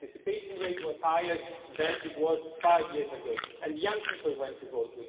The participation rate was higher than it was five years ago and young people went to vote.